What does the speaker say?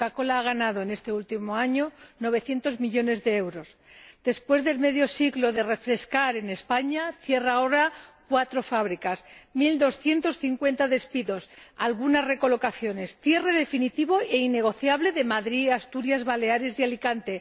Coca Cola ha ganado en este último año 900 millones de euros y después de medio siglo de refrescar en España cierra ahora cuatro fábricas ―l250 despidos, algunas recolocaciones, cierre definitivo e innegociable en Madrid, Asturias, Baleares y Alicante―.